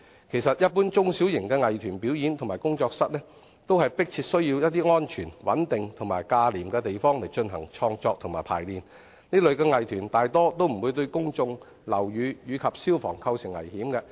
其實，一般中小型藝團表演或工作室，都迫切需要安全、穩定及價廉的地方進行創作和排練，這類藝團大多數不會對公眾、樓宇及消防構成危險。